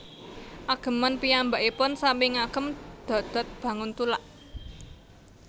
Ageman piyambakipun sami ngagem dodot banguntulak